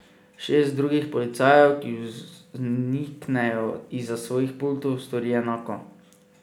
Šest drugih policajev, ki vzniknejo izza svojih pultov, stori enako.